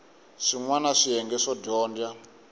swin wana swiyenge swo dyondza